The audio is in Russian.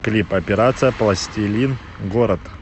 клип операция пластилин город